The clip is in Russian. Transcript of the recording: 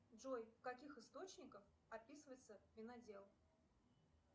джой в каких источниках описывается винодел